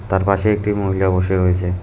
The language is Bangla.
তার পাশে একটি মহিলা বসে রয়েছে।